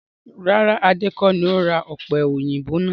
Rárá! Adé kọ ní ó ra ọ̀pẹ̀yìnbo náà